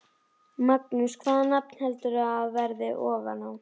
Magnús: Hvaða nafn heldurðu að verði ofan á?